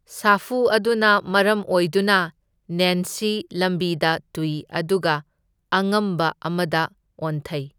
ꯁꯥꯐꯨ ꯑꯗꯨꯅ ꯃꯔꯝ ꯑꯣꯏꯗꯨꯅ ꯅꯦꯟꯁꯤ ꯂꯝꯕꯤꯗ ꯇꯨꯢ ꯑꯗꯨꯒ ꯑꯉꯝꯕ ꯑꯃꯗ ꯑꯣꯟꯊꯩ꯫